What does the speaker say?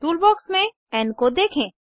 toolbox में N को देखें